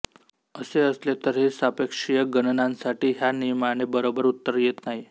असे असले तरीही सापेक्षीय गणनांसाठी ह्या नियमाने बरोबर उत्तर येत नाही